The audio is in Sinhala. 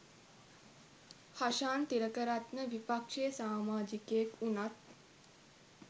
හෂාන් තිලකරත්න විපක්ෂයේ සාමාජිකයෙක් වුණත්